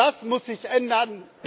Das muss sich ändern!